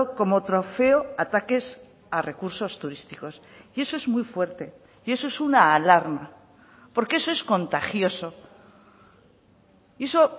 como trofeo ataques a recursos turísticos y eso es muy fuerte y eso es una alarma porque eso es contagioso eso